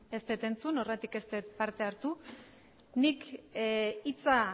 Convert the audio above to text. ez dut entzun horregatik ez dut parte hartu nik hitza